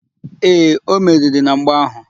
Ee, o meriri na mgba áhụ̀.